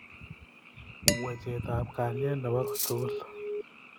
wechetab kalyet nebo kotugul